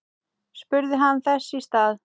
spurði hann þess í stað.